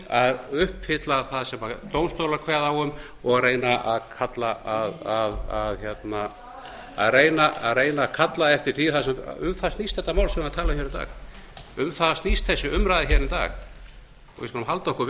að uppfylla það sem dómstólar kveða á um og reyna að kalla eftir því um það snýst þetta mál sem var talað hér í dag um það snýst þessi umræða hér í dag og við skulum halda okkur